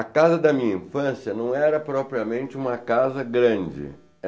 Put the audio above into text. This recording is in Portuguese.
A casa da minha infância não era propriamente uma casa grande.